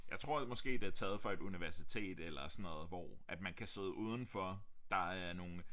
Jeg tror måske det er taget fra et universitet eller sådan noget hvor at man kan sidde udenfor der er nogle